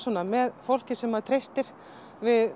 með fólki sem maður treystir við